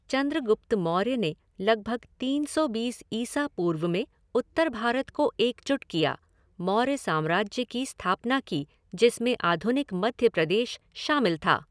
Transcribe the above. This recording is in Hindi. चँद्रगुप्त मौर्य ने लगभग तीन सौ बीस ईसा पूर्व में उत्तर भारत को एकजुट किया, मौर्य साम्राज्य की स्थापना की, जिसमे आधुनिक मध्य प्रदेश शामिल था।